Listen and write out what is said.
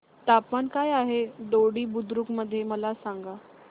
तापमान काय आहे दोडी बुद्रुक मध्ये मला सांगा